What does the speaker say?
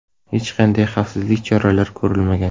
Hech qanday xavfsizlik choralari ko‘rilmagan.